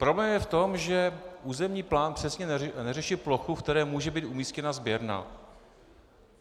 Problém je v tom, že územní plán přesně neřeší plochu, v které může být umístěna sběrna.